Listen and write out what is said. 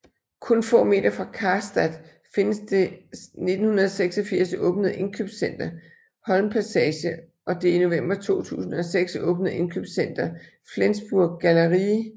Kun få meter fra Karstadt findes det 1986 åbnede indkøbscenter Holmpassage og det i november 2006 åbnede indkøbscenter Flensburg Galerie